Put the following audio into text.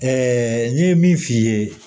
n'i ye min f'i ye